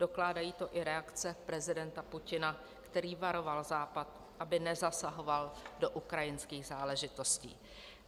Dokládají to i reakce prezidenta Putina, který varoval Západ, aby nezasahoval do ukrajinských záležitostí.